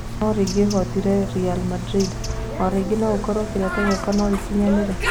No rĩngĩ hootire Ri Mandrinda o rĩngĩ no gũkorwo kĩroto gĩakwa no gĩkinyanĩre".